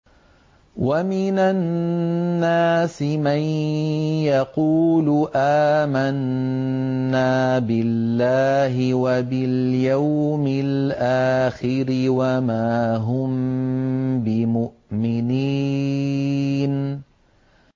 وَمِنَ النَّاسِ مَن يَقُولُ آمَنَّا بِاللَّهِ وَبِالْيَوْمِ الْآخِرِ وَمَا هُم بِمُؤْمِنِينَ